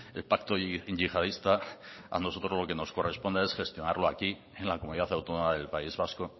el pacto yihadista a nosotros lo que nos corresponde es gestionarlo aquí en la comunidad autónoma del país vasco